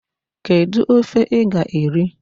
Kedu ofe ị ga-eri?